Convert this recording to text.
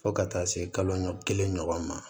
Fo ka taa se kalo kelen ɲɔgɔn ma